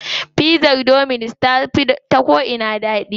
Pizzar dominus ta fi da ko'ina daɗi.